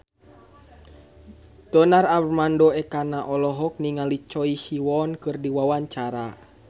Donar Armando Ekana olohok ningali Choi Siwon keur diwawancara